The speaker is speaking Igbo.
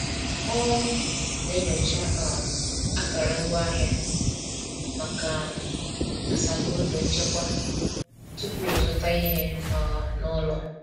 O na-enyocha um akara ngwaahịa maka um asambodo nchekwa tupu ịzụta ihe um n’ụlọ.